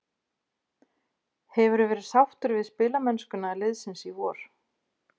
Hefur þú verið sáttur við spilamennskuna liðsins í vor?